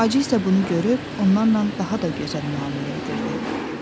Hacı isə bunu görüb onlarla daha da gözəl müamilə edirdi.